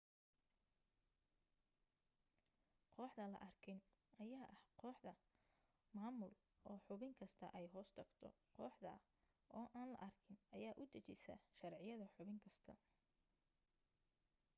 kooxda la arkin ayaa ah kooxda maamul oo xubin kasta ay hoostagto kooxda aan la arkin ayaa u dajisa sharciyada xubin kasta